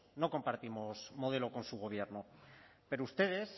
no compartimos modelo con su gobierno pero ustedes